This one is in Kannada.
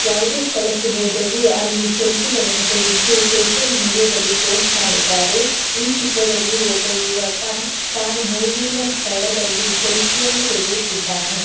ಯಾವುದೇ ಸ್ಥಳಕ್ಕೆ ಹೋದರೂ ಅಲ್ಲಿ ಸೆಲ್ಫಿ ಗಳನ್ನು ತೆಗೆದು ಸೋಶಿಯಲ್ ಮೀಡಿಯಾ ದಲ್ಲಿ ಪೋಸ್ಟ್ ಮಾಡುತ್ತಾರೆ ಈ ಚಿತ್ರದಲ್ಲಿಯೂ ಒಬ್ಬ ಯುವಕ ತಾನು ಹೋದ ಸ್ಥಳದಲ್ಲಿ ಸೆಲ್ಫಿ ಯನ್ನು ತೆಗೆಯುತ್ತಿದ್ದಾನೆ.